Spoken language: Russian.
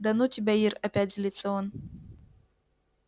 да ну тебя ир опять злится он